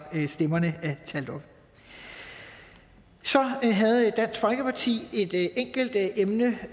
stemmerne er talt op så havde dansk folkeparti et enkelt emne